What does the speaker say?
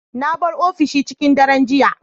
Na bar ofishi da cikin dare jiya.